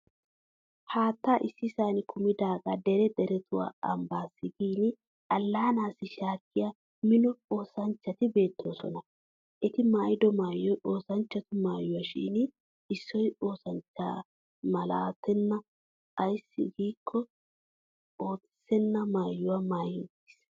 Haattaa issisan kumidaagaa dere derettawu ambbaassi gin allaanaassi shaakkiya Mino osanchchati beettoosona. Eti maayido maayoy oosanchchatu maayuwa shin issoy oosanchcha malatenna ayssi giikko ootissenna maayuwa maayi uttis.